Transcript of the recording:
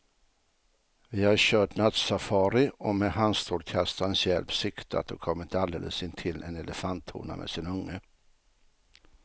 Vi har kört nattsafari och med handstrålkastarens hjälp siktat och kommit alldeles intill en elefanthona med sin unge.